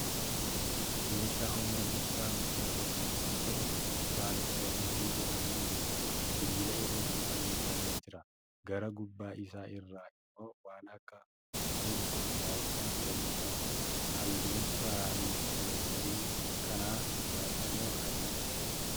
Meeshaa humna ibsaa guddaa qabu yommuu ta'u, tiraanisformerii jedhamuun beekama. Sibiila irratti fannifamee jira. Gara gubbaa isaa irraa immoo waan akka gugurraacha wayii qaba. Halluun tiraanisformerii kanaa gurraacha moo adiidha?